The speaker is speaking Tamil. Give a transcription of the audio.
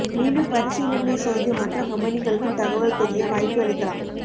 மீண்டும் பரிசீலனை செய்து மற்ற கம்பனிகளுக்கும் தகவல் தெரிய வாய்ப்பு அளிக்கலாம்